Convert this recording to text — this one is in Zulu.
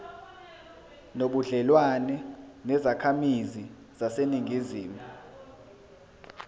nobudlelwane nezakhamizi zaseningizimu